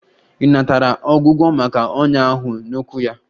Ọ natara ọgwụgwọ maka ọnyá ahụ n'ụkwụ ya?